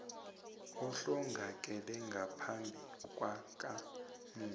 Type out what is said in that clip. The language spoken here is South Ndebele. ohlongakele ngaphambi kwakamufi